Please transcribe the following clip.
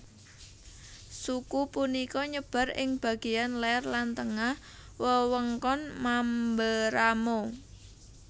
Suku punika nyebar ing bageyan ler lan tengah wewengkon Mamberamo